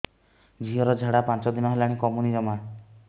ଝିଅର ଝାଡା ପାଞ୍ଚ ଦିନ ହେଲାଣି କମୁନି ଜମା